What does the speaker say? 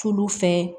Tulu fɛ